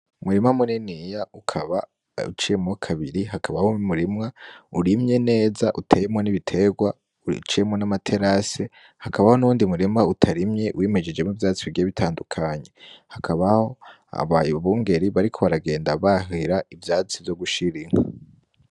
Umurima muniniya ukaba uciyemo kabiri, hakabaho umurima urimye neza, uteyemwo n'ibitegwa uciyemwo n'amaterase, hakabaho n'uwundi murima utarimye wimejejemwo ivyatsi bigiye bitandukanye, hakabaho abungere bariko baragenda bahira ivyatsi vyo gushira inka.